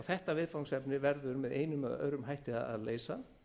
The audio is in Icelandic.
þetta viðfangsefni verður með einum eða öðrum hætti að leysa